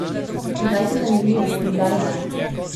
Kdaj si zanimiv in kdaj ne?